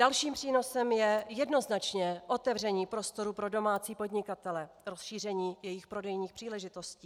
Dalším přínosem je jednoznačně otevření prostoru pro domácí podnikatele, rozšíření jejich prodejních příležitostí.